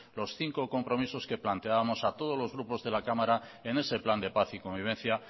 los cinco compromisos que planteábamos a todos los grupos de la cámara en ese plan de paz y convivencia